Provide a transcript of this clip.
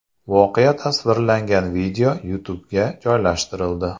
Voqea tasvirlangan video YouTube’ga joylashtirildi.